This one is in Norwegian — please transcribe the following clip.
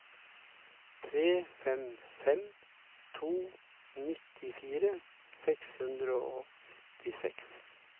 tre fem fem to nittifire seks hundre og syttiseks